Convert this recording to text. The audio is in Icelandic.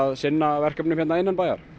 sinna verkefnum hérna innanbæjar